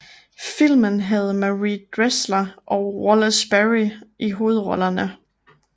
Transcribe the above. Filmen havde Marie Dressler og Wallace Beery i hovedrollerne